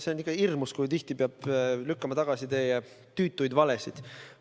See on ikka hirmus, kui tihti peab lükkama tagasi teie tüütuid valesid.